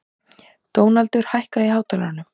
Dónaldur, hækkaðu í hátalaranum.